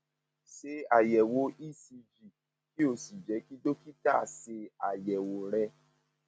ṣe àyẹwò ecg kí o sì jẹ kí dókítà ṣe àyẹwò ṣe àyẹwò rẹ